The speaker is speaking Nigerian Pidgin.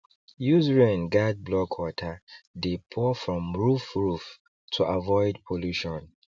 use rain guard block water dey pour from roof roof to avoid pollution